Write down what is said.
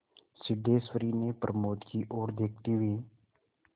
सिद्धेश्वरी ने प्रमोद की ओर देखते हुए